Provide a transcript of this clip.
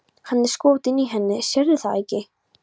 Hann er skotinn í henni, sérðu það ekki?